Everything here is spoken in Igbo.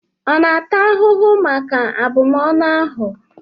Ọ na-atụ ahụhụ maka abụmọnụ ahụ?